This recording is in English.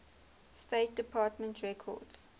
state department records